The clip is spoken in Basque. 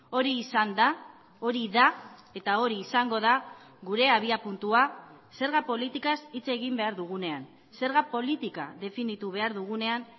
hori izan da hori da eta hori izango da gure abiapuntua zerga politikaz hitz egin behar dugunean zerga politika definitu behar dugunean